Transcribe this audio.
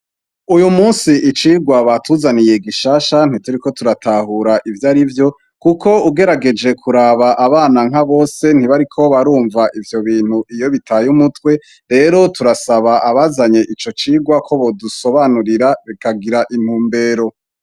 Uyu munsi icigwa batuzaniye gishasha, ntituriko turatahura ivyo ari vyo, kuko ugerageje kuraba abana nka bose ntibariko barumva ivyo bintu iyo bitaye umutwe, rero turasaba abazanye ico cigwa ko bodusobanurira bikagira intumbero.